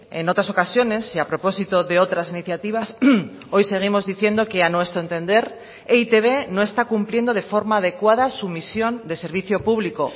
en otras ocasiones y a propósito de otras iniciativas hoy seguimos diciendo que a nuestro entender e i te be no está cumpliendo de forma adecuada su misión de servicio público